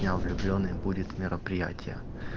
я влюблённый будет мероприятие